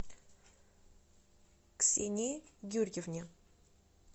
ксении юрьевне